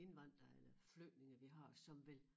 Indvandrere eller flygtninge vi har som vil